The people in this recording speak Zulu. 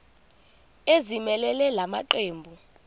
ezimelele la maqembu